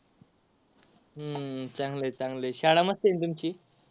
हम्म चांगलय चांगलय शाळा मस्त आहे ना तुमची.